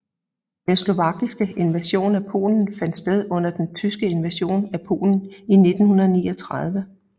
Den slovakiske invasion af Polen fandt sted under den tyske invasion af Polen i 1939